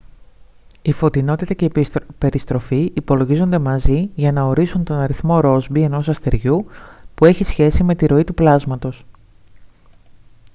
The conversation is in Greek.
η φωτεινότητα και η περιστροφή υπολογίζονται μαζί για να ορίσουν τον αριθμό ρόσμπι ενός αστεριού που έχει σχέση με τη ροή του πλάσματος